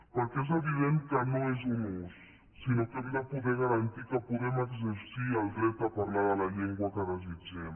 perquè és evident que no és un ús sinó que hem de poder garantir que podem exercir el dret a parlar la llengua que desitgem